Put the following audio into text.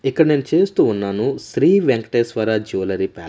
ఇక్కడ నేను చేస్తూ ఉన్నాను శ్రీ వెంకటేశ్వర జూలరీ ప్యా--